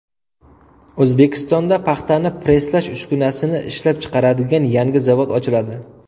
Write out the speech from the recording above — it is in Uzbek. O‘zbekistonda paxtani presslash uskunasini ishlab chiqaradigan yangi zavod ochiladi.